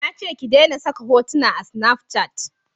Na ce ki dena saka hotuna a snafcat